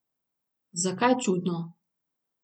Zakaj čudno?